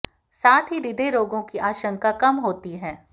साथ ही हृदय रोगों की आशंका कम होती है